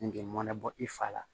Nge mɔnɛ bɔ i fa la